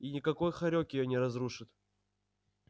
и никакой хорёк её не разрушит